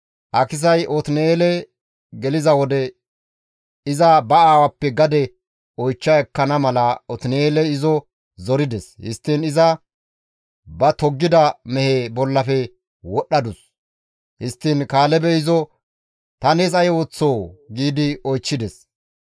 Akisay Otin7eele geliza wode, iza ba aawappe gade oychcha ekkana mala Otin7eeley izo zorides; histtiin iza ba toggida mehe bollafe wodhdhadus; histtiin Kaalebey izo, «Ta nees ay ooththoo?» giidi oychchides.